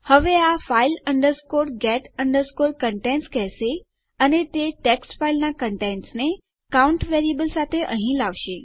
હવે આ શું કરશે તે file get contents કહેશે અને તે આપણી ટેક્સ્ટ ફાઈલના કન્ટેન્ટસને આપણા કાઉન્ટ વેરિયેબલ સાથે અહી લાવશે